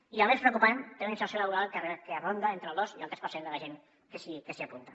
i el més preocupant té una inserció laboral que ronda entre el dos i el tres per cent de la gent que s’hi apunta